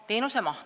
Teenuse maht.